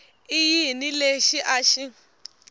i yini lexi a xi